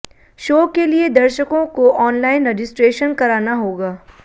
show के लिए दर्शको को ऑनलाइन रजिस्ट्रेशन कराना होगा